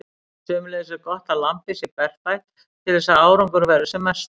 Sömuleiðis er gott að lambið sé berfætt til þess að árangur verði sem mestur.